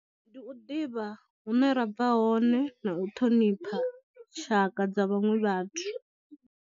Ndi u ḓivha hune ra bva hone na u ṱhonipha tshaka dza vhaṅwe vhathu.